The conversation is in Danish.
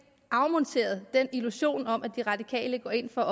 afmonteret den illusion om at de radikale går ind for